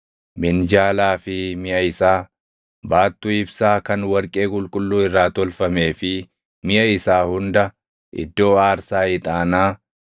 minjaalaa fi miʼa isaa, baattuu ibsaa kan warqee qulqulluu irraa tolfamee fi miʼa isaa hunda, iddoo aarsaa ixaanaa,